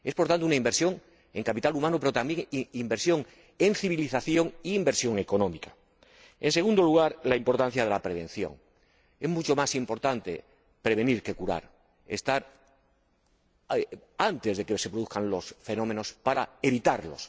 Es, por tanto, una inversión en capital humano, pero, también inversión en civilización e inversión económica. En segundo lugar, la importancia de la prevención es mucho más importante prevenir que curar, actuar antes de que se produzcan los fenómenos para evitarlos.